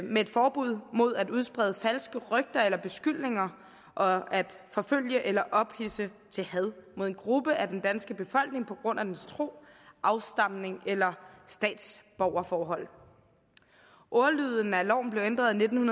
med et forbud mod at udsprede falske rygter eller beskyldninger og at forfølge eller ophidse til had mod en gruppe af den danske befolkning på grund af dens tro afstamning eller statsborgerforhold ordlyden af loven blev ændret i nitten